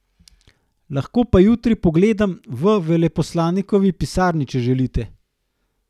Lahko pa jutri pogledam v veleposlanikovi pisarni, če želite.